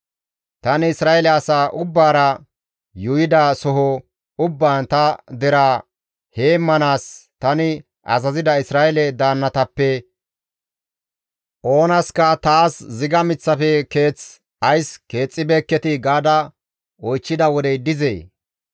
Tani Isra7eele asaa ubbaara yuuyida soho ubbaan ta deraa heemmanaas tani azazida Isra7eele daannatappe oonaska, ‹Taas ziga miththafe keeth ays keexxibeeketii?› gaada oychchida wodey dizee?